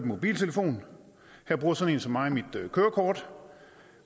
mobiltelefon her bruger sådan en som mig mit kørekort